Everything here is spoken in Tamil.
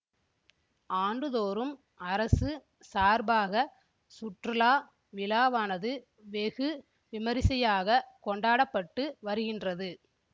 ஆண்டுதோறும் அரசு சார்பாக சுற்றுலா விழாவானது வெகு விமரிசையாக கொண்டாட பட்டு வருகின்றது